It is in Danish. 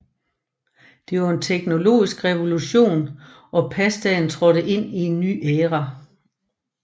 Det var en teknologisk revolution og pastaen trådte ind i en ny æra